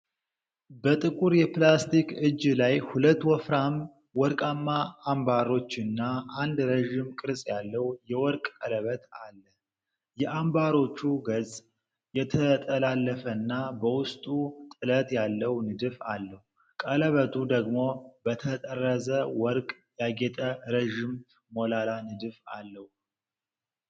በጥቁር የፕላስቲክ እጅ ላይ ሁለት ወፍራም ወርቃማ አምባሮችና አንድ ረዥም ቅርጽ ያለው የወርቅ ቀለበት አለ። የአምባሮቹ ገጽ የተጠላለፈና በውስጡ ጥለት ያለው ንድፍ አለው። ቀለበቱ ደግሞ በተጠረዘ ወርቅ ያጌጠ ረዥም ሞላላ ንድፍ አለው።